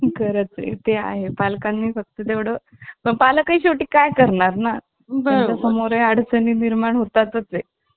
जरासा अपंग होता. त्याला बोलायला नाही यायचं. आणि हातबीत त्याचे थोडे वाकडे होते. मग तो~ त्याला जास्त आम्ही खेळायला नाही घ्यायचो. पडलं बिडलं तर, त्याचे हात बीत त्याचे वाकडे होते ना. मग भीती वाटायची.